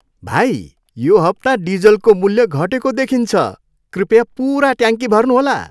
भाइ, यो हप्ता डिजलको मूल्य घटेको देखिन्छ। कृपया पुरा ट्याङ्की भर्नुहोला।